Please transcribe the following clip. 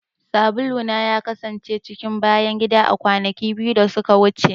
Sabula na ya kasance cikin bayan gida a kwanaki biyu da suka wuce.